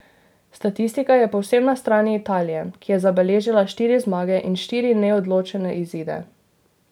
Statistika je povsem na strani Italije, ki je zabeležila štiri zmage in štiri neodločene izide.